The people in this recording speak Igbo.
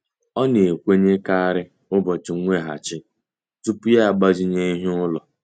Ọ na-ekwenyekarị ụbọchị nweghachi tupu ya agbazinye ihe ụlọ.